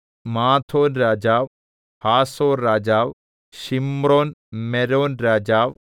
മാദോൻരാജാവ് ഹാസോർരാജാവ് ശിമ്രോൻമെരോൻരാജാവ്